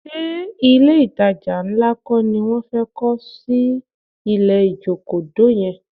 Ṣé ilé-ìtajà ńlá kọ́ ni wọ́n fẹ́ kọ́ sí ilẹ̀ Ìjokòdó yẹn?